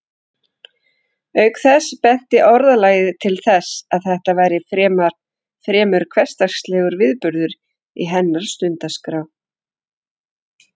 Auk þess benti orðalagið til þess að þetta væri fremur hversdagslegur viðburður í hennar stundaskrá.